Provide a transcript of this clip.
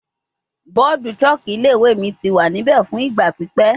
Bọọdu chalk ni ile-iwe mi ti wa nibẹ fun igba pipẹ